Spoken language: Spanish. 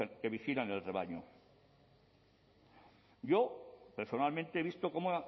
que vigilan el rebaño yo personalmente he visto cómo